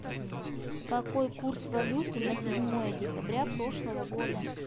какой курс валюты на седьмое декабря прошлого года